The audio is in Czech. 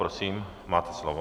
Prosím, máte slovo.